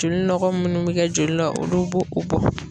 Joli nɔgɔ munnu be kɛ joli la ,olu bo o bɔ.